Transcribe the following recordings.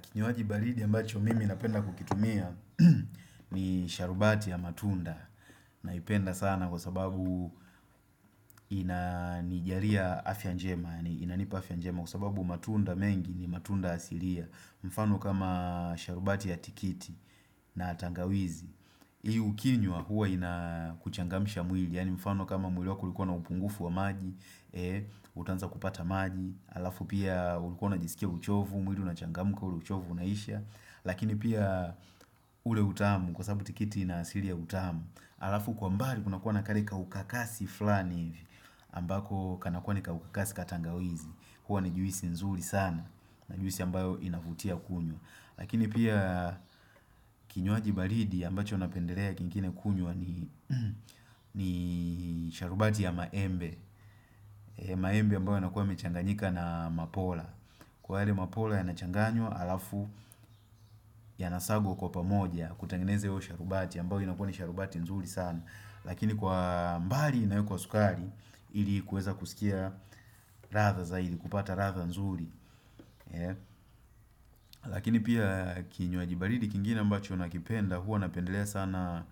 Kinywaji baridi ambacho mimi napenda kukitumia ni sharubati ya matunda naipenda sana kwa sababu inanijalia afya njema, yaani inanipa afya njema kwa sababu matunda mengi ni matunda asilia. Mfano kama sharubati ya tikiti na tangawizi. Hii ukinywa huwa inakuchangamsha mwili yaani mfano kama mwili wako ulikuwa na upungufu wa maji, utaanza kupata maji alafu pia ulikuwa unajisikia uchovu, mwili unachangamka ule uchovu unaisha Lakini pia ule utamu kwa sababu tikiti ina asili ya utamu. Alafu kwa mbali kunakuwa na kale ka ukakasi flani hivi ambako kanakuwa ni kaukasi ka tangawizi. Huwa ni juisi nzuri sana, ni juisi ambayo inavutia kunywa. Lakini pia kinywaaji baridi ambacho napendelea kingine kunywa ni sharubati ya maembe. Maembe ambayo nakuwa yamechanganyika na mapola. Kwa yale mapola yanachanganywa alafu yanasagwa kwa pamoja kutengeneza hiyo sharubati ambayo inakuwa ni sharubati nzuri sana. Lakini kwa mbali nayo kwa sukari ili kuweza kusikia ladha zaidi, kupata ladha nzuri Lakini pia kinywaji baridi kingine ambacho nakipenda huwa napendelea sana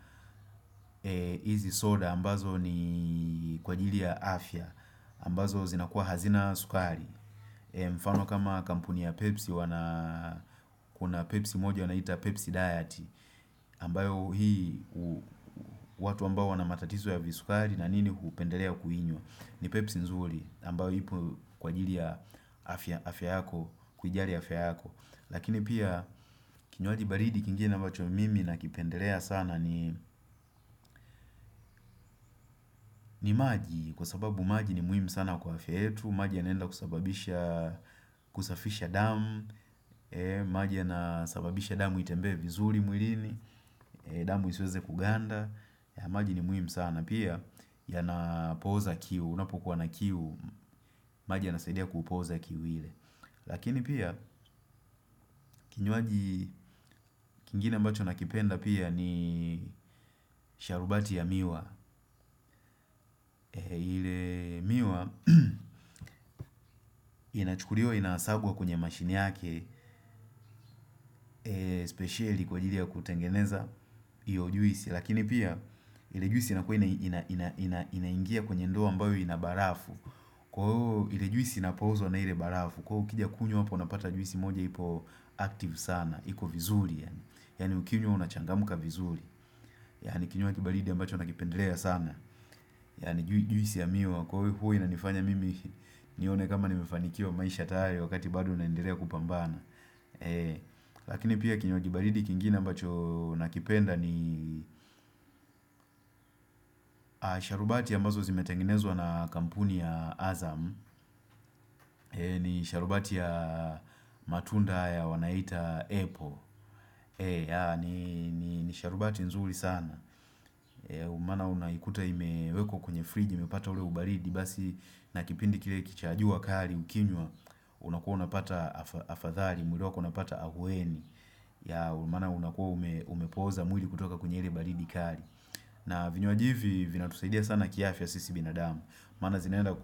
hizi soda ambazo ni kwa ajili ya afya ambazo zinakuwa hazina sukari. Mfano kama kampuni ya pepsi Kuna pepsi moja wanaita pepsi diet ambayo hii watu ambao wana matatizo ya visukari na nini hupendelea kuinywa. Ni pepsi nzuri ambayo ipo kwa ajili ya afya yako kujali afya yako. Lakini pia kinywaji baridi kingine ambacho mimi nakipendelea sana ni ni maji. Kwa sababu maji ni muhimu sana kwa afya yfietu. Maji yanaenda kusababisha kusafisha damu. Maji yanasababisha damu itembee vizuri mwilini. Damu isiweze kuganda maji ni muhimu sana, pia yanapoza kiu, unapokuwa na kiu, maji yanasaidia kupoza kiu ile. Lakini pia kinywaji kingine ambacho nakipenda pia ni sharubati ya miwa ile miwa inachukuliwa inasagwa kwenye mashini yake Speceli kwa ajili ya kutengeneza iyo juisi. Lakini pia ile juisi inakuwa inaingia kwenye ndoo ambayo ina barafu. Kwa huo ile juisi inapozwa na ile barafu. Kwa hiyo ukija kunywa hapo unapata juisi moja ipo active sana. Iko vizuri Yaani ukiunywa unachangmka vizuri Yaani kinywaji baridi ambacho nakipendelea sana. Yaani juisi ya miwa huwa inanifanya mimi nione kama nimefanikiwa maisha hayo wakati bado naendelea kupambana Lakini pia kinywaji baridi kingine ambacho nakipenda ni sharubati ambazo zimetengenezwa na kampuni ya Azam ni sharubati ya matunda wanaita apple. Ni sharubati nzuri sana maana unaikuta imewekwa kwenye fridge, imepata ule ubaridi basi na kipindi kile cha jua kali ukinywa, unakuwa unapata afadhali, mwili wako unapata ahueni maana unakuwa umepoza mwili kutoka kwenye ile baridi kali na vinywaji hivi vinatusaidia sana kiafya sisi binadamu maana zinaenda,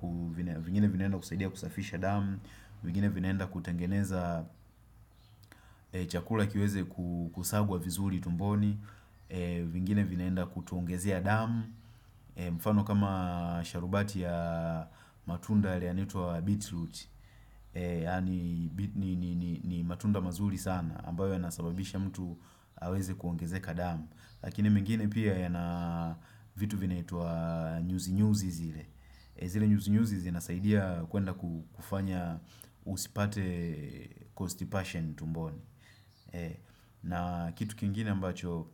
vingine vinaenda kusaidia kusafisha damu, vingine vinaenda kutengeneza chakula kiweze kusagwa vizuri tumboni vingine vinaenda kutuongezea damu mfano kama sharubati ya matunda yale yanaitwa Bitroot. Yaani ni matunda mazuri sana ambayo yanasababisha mtu aweze kuongezeka damu. Lakini mengine pia yanavitu vinaitwa nyuzinyuzi zile. Zile nyuzi nyuzi zinasaidia kuenda kufanya usipate constipation tumboni na kitu kingine ambacho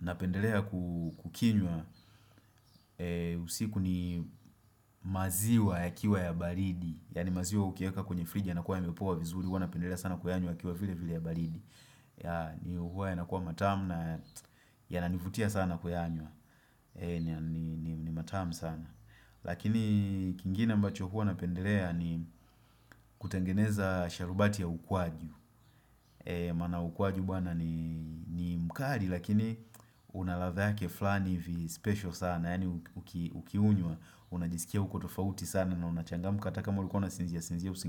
napendelea kukinywa usiku ni maziwa yakiwa ya baridi. Yaani maziwa ukiweka kwenye fridge yanakuwa yamepoa vizuri. Huwa napendelea sana kuyanywa yakiwa vile vile ya baridi. Ni huwa yanakuwa matamu na yananivutia sana kuyanywa. Ni matamu sana Lakini kingine ambacho huwa napendelea ni kutengeneza sharubati ya ukwaju Maana ukwaju bwana ni mkali lakini unaladha yake flani hivi special sana yaani ukiunywa, unajisikia uko tofauti sana na unachangamka hata kama ulikuwa unasinzia sinzia usingi.